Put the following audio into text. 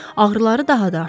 Ağrıları daha da artmışdı.